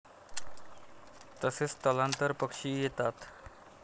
तसेच स्थलांतर पक्षीही येतात.